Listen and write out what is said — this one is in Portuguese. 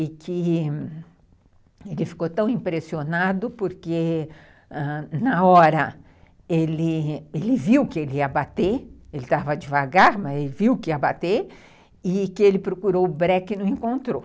e que ele ficou tão impressionado porque, ãh... na hora, ele viu que ele ia bater, ele estava devagar, mas ele viu que ia bater, e que ele procurou o breque e não encontrou.